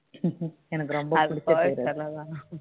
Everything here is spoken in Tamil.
அது கோவை சரலா தான்